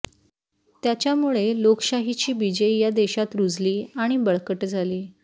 त्या़च्यामुळे लोकशाहीची बिजे या देशत रूजली आणि बळकट झाली